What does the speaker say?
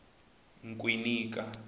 nkwinika